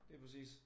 Lige præcis